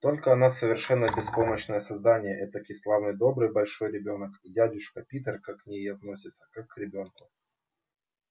только она совершенно беспомощное создание этакий славный добрый большой ребёнок и дядюшка питер так к ней и относится как к ребёнку